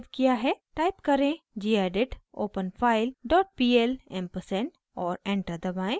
type करें: gedit openfile dot pl ampersand और enter दबाएं